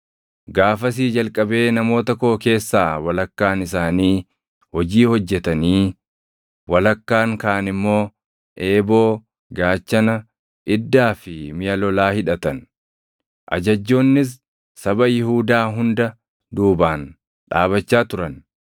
Gaafasii jalqabee namoota koo keessaa walakkaan isaanii hojii hojjetanii walakkaan kaan immoo eeboo, gaachana, iddaa fi miʼa lolaa hidhatan. Ajajjoonnis saba Yihuudaa hunda duubaan dhaabachaa turan;